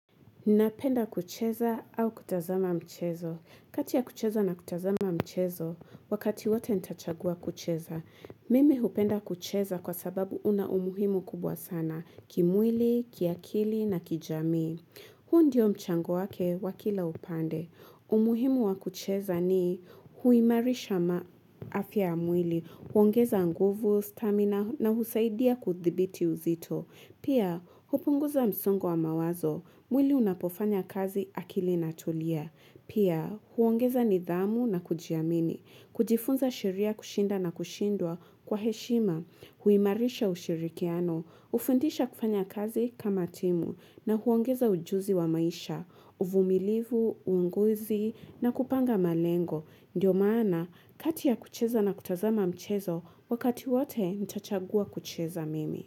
Nnapenda kucheza au kutazama mchezo. Kati ya kucheza na kutazama mchezo, wakati wote ntachagua kucheza. Mimi hupenda kucheza kwa sababu una umuhimu kubwa sana, kimwili, kiakili na kijamii. Huu ndio mchango wake wakila upande. Umuhimu wa kucheza ni huimarisha ma afya amwili, huongeza nguvu, stamina na husaidia kuthibiti uzito. Pia, hupunguza msongo wa mawazo. Mwili unapofanya kazi akili na tulia. Pia, huongeza nidhamu na kujiamini. Kujifunza sheria kushinda na kushindwa kwa heshima. Huimarisha ushirikiano. Ufundisha kufanya kazi kama timu. Na huongeza ujuzi wa maisha. Uvumilivu, uunguzi na kupanga malengo. Ndio maana, kati ya kucheza na kutazama mchezo, wakati wote ntachagua kucheza mimi.